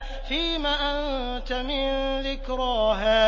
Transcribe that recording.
فِيمَ أَنتَ مِن ذِكْرَاهَا